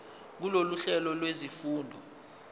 kulolu hlelo lwezifundo